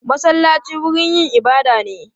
Masallaci wurin yin ibada ne.